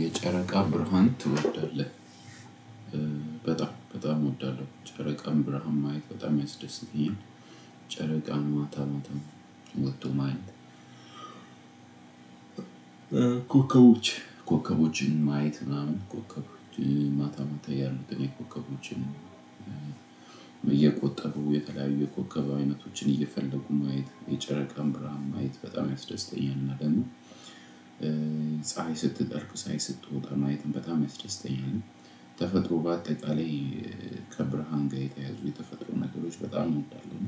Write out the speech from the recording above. የጨረቃ ብርሃን ትወዳለህ? በጣም በጣም እወዳለሁ የጨረቃን ብርሃን ማየት በጣም ያስደስተኛል። ጨረቃን ማታ ማታ ወጥቶ ማየት። ኮከቦች ኮከቦችን ማየት ምናምን ኮከቦችን ማታ ማታ ያሉትን የኮከቦችን እየቆጠቡ የተለያዩ የኮከብ አይነቶችን እየፈለጉ ማየት የጨረቃም ብርሃን ማየት በጣም ያስደስተኛል። እና ደግሞ ፀሀይ ስትጠልቅ ፀሀይ ስትወጣ ማየትም በጣም ያስደስተኛል። ተፈጥሮ በአጠቃላይ ከብርሃን ጋር የተያያዙ የተፈጥሮ ነገሮች በጣም እንዳለው